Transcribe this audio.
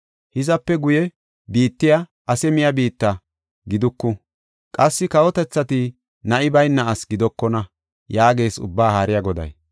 Hizape guye, biittay, “Ase miya biitta” giduku; qassi kawotethati, “Na7i bayna asi gidokona” yaagees Ubbaa Haariya Goday.